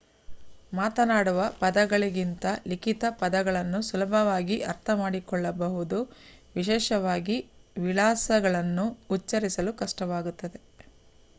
ಮಾತನಾಡುವ ಪದಗಳಿಗಿಂತ ಲಿಖಿತ ಪದಗಳನ್ನು ಸುಲಭವಾಗಿ ಅರ್ಥಮಾಡಿಕೊಳ್ಳಬಹುದು ವಿಶೇಷವಾಗಿ ವಿಳಾಸಗಳನ್ನು ಉಚ್ಛರಿಸಲು ಕಷ್ಟವಾಗುತ್ತದೆ